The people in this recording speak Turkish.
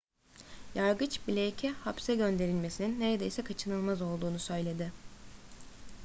yargıç blake'e hapse gönderilmesinin neredeyse kaçınılmaz olduğunu söyledi